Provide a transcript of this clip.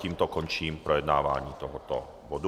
Tím končím projednávání tohoto bodu.